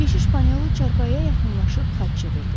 Keşiş Panelo çarpayıya yaxınlaşıb xaç çevirdi.